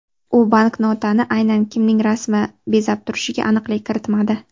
U banknotani aynan kimning rasmi bezab turishiga aniqlik kiritmadi.